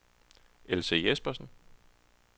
Else Jespersen